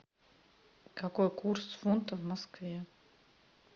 какой курс фунта в москве